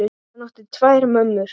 Hann átti tvær mömmur.